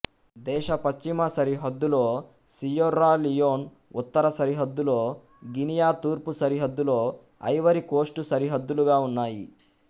దేశ పశ్చిమసరిహద్దులో Sierra Leone ఉత్తర సరిహద్దులో గినియా తూర్పు సరిహద్దులో ఐవరీ కోస్ట్ సరిహద్దులుగా ఉన్నాయి